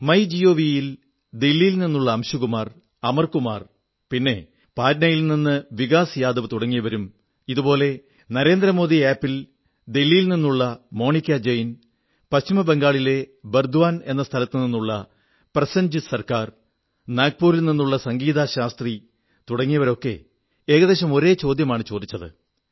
my G O V ൽ ദില്ലിയിൽ നിന്നുള്ള അംശുകുമാർ അമർ കുമാർ പിന്നെ പാറ്റ്നയിൽ നിന്ന് വികാസ് യാദവ് തുടങ്ങിയവരും ഇതേപോലെ നരേന്ദ്ര മോദി ആപ് ൽ ദില്ലിയിൽ നിന്നുള്ള മോണികാ ജെയ്ൻ പശ്ചിമബംഗാളിലെ ബർദ്വാൻ എന്ന സ്ഥലത്തുനിന്നുള്ള പ്രസേൻജിത് സർക്കാർ നാഗപൂരിൽ നിന്നുള്ള സംഗീതാ ശാസ്ത്രി തുടങ്ങിയവരൊക്കെ ഏകദേശം ഒരേ ചോദ്യമാണ് ചോദിച്ചത്